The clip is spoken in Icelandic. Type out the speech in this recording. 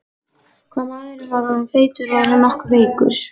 Hvað maðurinn var orðinn feitur, var hann nokkuð veikur?